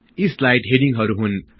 यी स्लाइड हेडिङहरु हुन्